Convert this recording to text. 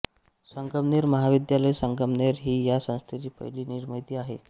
संगमनेर महाविद्यालय संगमनेर ही या संस्थेची पहिली निर्मिती आहे